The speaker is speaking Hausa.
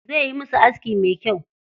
Zai yi musu aski me kyau.